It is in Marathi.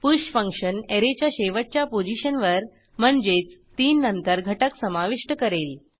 पुष फंक्शन ऍरेच्या शेवटच्या पोझिशनवर म्हणजेच 3 नंतर घटक समाविष्ट करेल